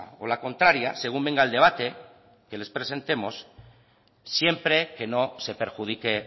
o la contraria según venga el debate que les presentemos siempre que no se perjudique